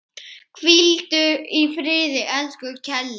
Hvíldu í friði, elsku Keli.